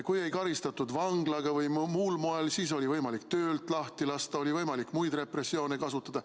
Kui ei karistatud vanglaga või muul moel, siis oli võimalik töölt lahti lasta, oli võimalik muid repressioone kasutada.